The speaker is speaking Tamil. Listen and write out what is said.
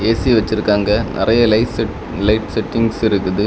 ஏ_சி வச்சுக்கிறாங்க நறைய லைட் செட்டிங்ஸ் இருக்கு.